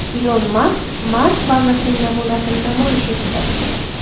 Ilon Mask Mars bazasining namunasini namoyish etdi.